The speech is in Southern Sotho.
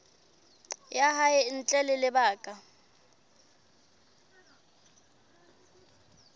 ya hae ntle ho lebaka